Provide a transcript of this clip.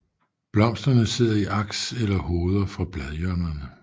Blomsterne sidder i aks eller hoveder fra bladhjørnerne